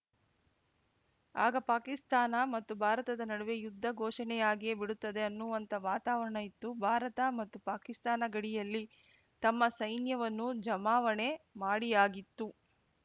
ಆಗ ಪಾಕಿಸ್ತಾನ ಮತ್ತು ಭಾರತದ ನಡುವೆ ಯುದ್ಧ ಘೋಷಣೆಯಾಗಿಯೇ ಬಿಡುತ್ತದೆ ಅನ್ನುವಂಥ ವಾತಾವರಣ ಇತ್ತು ಭಾರತ ಮತ್ತು ಪಾಕಿಸ್ತಾನ ಗಡಿಯಲ್ಲಿ ತಮ್ಮ ಸೈನ್ಯವನ್ನು ಜಮಾವಣೆ ಮಾಡಿಯಾಗಿತ್ತು